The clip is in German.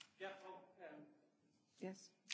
Frau Präsidentin, meine Damen und Herren!